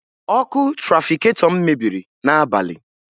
Ọkụ trafiketọ m mebiri n'abalị